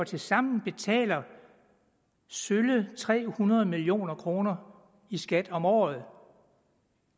tilsammen betaler sølle tre hundrede million kroner i skat om året